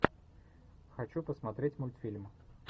хочу посмотреть мультфильм